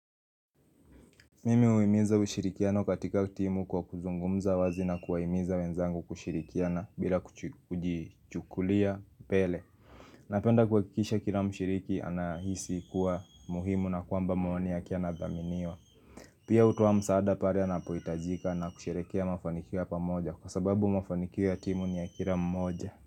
Mimi huhimiza ushirikiano katika timu kwa kuzungumza wazi na kuwahimiza wenzangu kushirikiana bila kujichukulia pele Napenda kuhakikisha kila mshiriki anahisi kuwa muhimu na kwamba maoni yake yanadhaminiwa Pia hutoa msaada pale anapohitajika na kusherehekea mafanikio ya pamoja kwa sababu mafanikio ya timu ni ya kila mmoja.